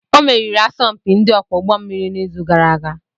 Ọ meriri asọmpi ndị ọkwọ ụgbọ mmiri n'izu gara aga